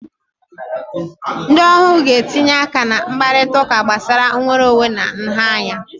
Ndị ohu ga-etinye aka na mkparịta ụka gbasara nnwere onwe na nha anya